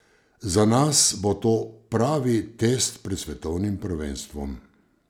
Za nas bo to pravi test pred svetovnim prvenstvom.